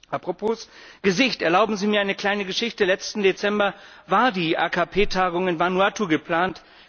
Apropos Gesicht erlauben Sie mir eine kleine Geschichte Letzten Dezember war die AKP Tagung in Vanuatu geplant.